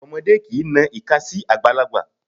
Ọmọdé kìí na ìka sí àgbàlagbà.